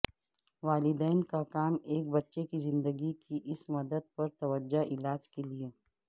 والدین کا کام ایک بچے کی زندگی کی اس مدت پر توجہ علاج کے لئے